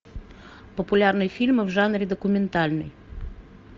популярные фильмы в жанре документальный